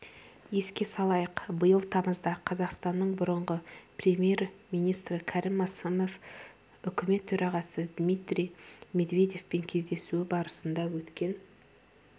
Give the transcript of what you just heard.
еске салайық биыл тамызда қазақстанның бұрынғы премьер-министрі кәрім мәсімов үкімет төрағасы дмитрий медведевпен кездесуі барысында өткен